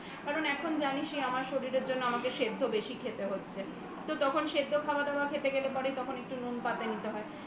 কারণ এখন জানিসই আমার শরীরের জন্য আমাকে সেদ্ধ বেশি খেতে হচ্ছে তখন সেদ্ধ খাওয়া দাওয়া খেতে গেলেই পারে তখন একটু নুন পাতে নিতে হয়